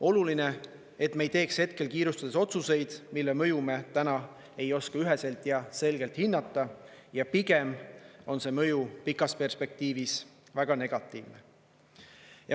Oluline, et me ei teeks hetkel kiirustades otsuseid, mille mõju me täna ei oska üheselt ja selgelt hinnata ja pigem on see mõju pikas perspektiivis väga negatiivne.